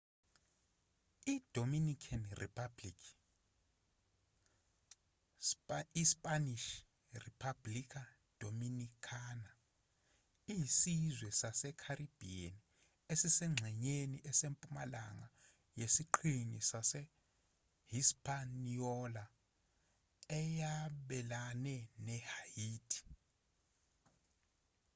i-dominican republic ispanish: república dominicana iyisizwe sase-caribbean esisengxenyeni esempumalanga yesiqhingi sase-hispaniola eyabelana ne-haiti